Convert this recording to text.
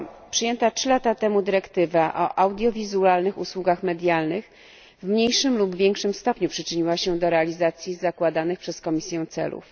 Przyjęta trzy lata temu dyrektywa o audiowizualnych usługach medialnych w mniejszym lub większym stopniu przyczyniła się do realizacji zakładanych przez Komisję celów.